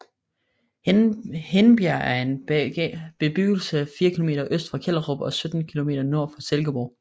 Hindbjerg er en bebyggelse 4 km øst for Kjellerup og 17 km nord for Silkeborg